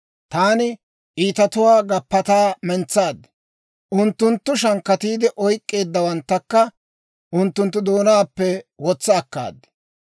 Taani iitatuwaa gappataa mentsaad; unttunttu shankkatiide oyk'k'eeddawanttakka unttunttu doonaappe wotsa akkaad.